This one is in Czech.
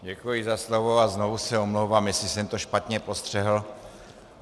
Děkuji za slovo a znovu se omlouvám, jestli jsem to špatně postřehl.